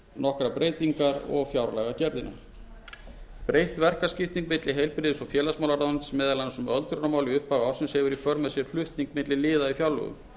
nokkrar breytingar og fjárlagagerðina breytt verkaskipting milli heilbrigðis og félagsmálaráðuneytis meðal annars um öldrunarmál í upphafi ársins hefur í för með sér flutning á milli liða í fjárlögum